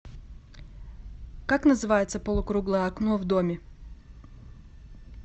как называется полукруглое окно в доме